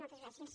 moltes gràcies